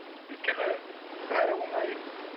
өйткені бәрі оңай